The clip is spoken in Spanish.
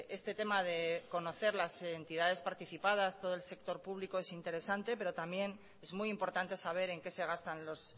este tema de conocer las entidades participadas todo el sector público es interesante saber en qué se gastan